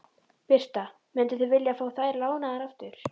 Birta: Mynduð þið vilja fá þær lánaðar aftur?